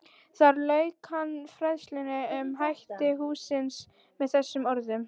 Þar lauk hann fræðslunni um hætti hússins með þessum orðum